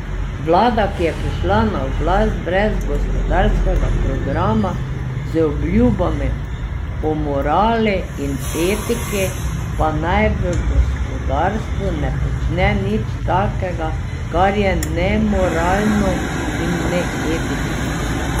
Vlada, ki je prišla na oblast brez gospodarskega programa, z obljubami o morali in etiki, pa naj v gospodarstvu ne počne nič takega, kar je nemoralno in neetično.